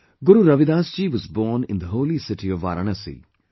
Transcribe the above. Guru Ravidas ji was born in the holy city of Varanasi